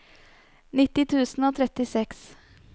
nitti tusen og trettiseks